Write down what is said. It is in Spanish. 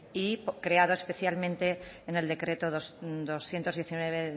y creado especialmente en el decreto doscientos diecinueve